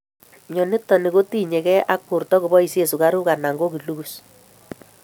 Myonitok ni kotinyegei ak borto koboisien sukaruk anan ko glucose